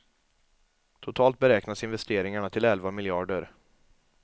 Totalt beräknas investeringarna till elva miljarder.